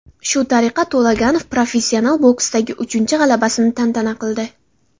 Shu tariqa To‘laganov professional boksdagi uchinchi g‘alabasini tantana qildi.